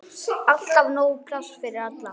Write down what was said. Alltaf nóg pláss fyrir alla.